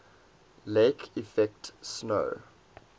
lake effect snow